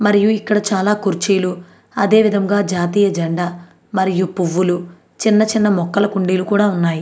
మరియు ఇక్కడ చాల కుర్చీలు అదే విధముగా జాతీయ జండా పూవులు మరియు చిన్న చిన్న మొక్కలు కుండీలు కూడా ఉన్నాయ్.